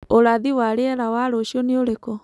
ũrathi wa rĩera wa rũcĩũ nĩ ũrĩkũ